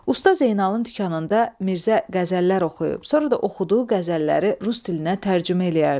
Usta Zeynalın dükanında Mirzə qəzəllər oxuyub, sonra da oxuduğu qəzəlləri Rus dilinə tərcümə eləyərdi.